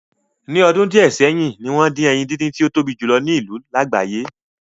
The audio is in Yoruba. Ní ọdún díẹ̀ sẹ́yìn, ni wọ́n dín ẹyin díndín tí ó tóbi jù lo ní ìlú lágbàáyé